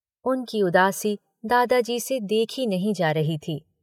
उनकी उदासी दादाजी से देखी नहीं जा रही थी।